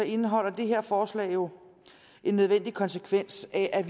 indeholder det her forslag jo en nødvendig konsekvens af at